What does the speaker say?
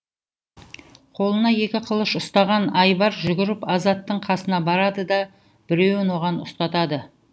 қолына екі қылыш ұстаған айбар жүгіріп азаттың қасына барады да біреуін оған ұстатады